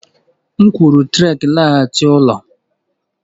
M kwuru Trek laghachi n'ụlọ!